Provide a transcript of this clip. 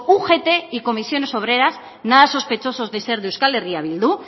ugt y comisiones obreras nada sospechosos de ser de euskal herria bildu